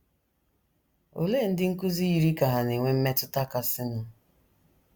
Olee ndị nkụzi yiri ka hà na - enwe mmetụta kasịnụ?